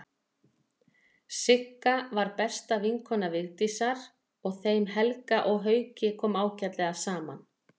Sigga var besta vinkona Vigdísar og þeim Helga og Hauki kom ágætlega saman.